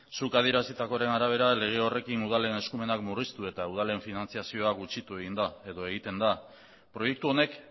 zuk adierazitakoaren arabera lege horrekin udalen eskumenak murriztu eta udalen finantziazioa gutxitu egin da edo egiten da proiektu honek